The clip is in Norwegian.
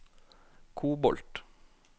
kobolt